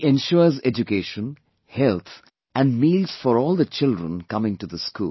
He ensures education, health and meals for all the children coming to this school